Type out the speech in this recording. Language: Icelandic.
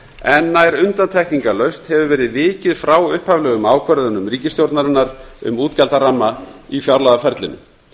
en nær undantekningarlaust hefur verið vikið frá upphaflegum ákvörðunum ríkisstjórnarinnar um útgjaldaramma í fjárlagaferlinu